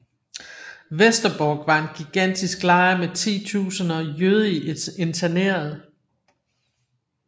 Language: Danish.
Westerbork var en gigantisk lejr med titusinder jødiske internerede